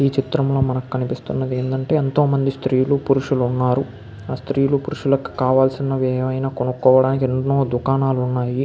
పైన కనిపిస్తున్న చిత్రంలో మనకి పురుషులు శ్రీలు కనిపిస్తున్నారు. వాలు కావలిసినవి కొనుకోవడానికి ఎన్నో దుకాణాలు ఉన్నాయి.